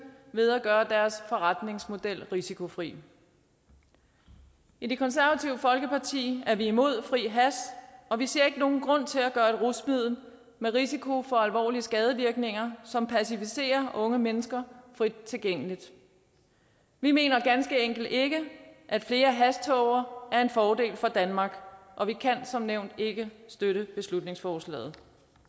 ved at gøre deres forretningsmodel risikofri i det konservative folkeparti er vi imod fri hash og vi ser ikke nogen grund til at gøre et rusmiddel med risiko for alvorlige skadevirkninger som pacificerer unge mennesker frit tilgængeligt vi mener ganske enkelt ikke at flere hashtåger er en fordel for danmark og vi kan som nævnt ikke støtte beslutningsforslaget